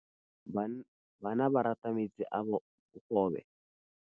Bana ba rata metsi a mogobe.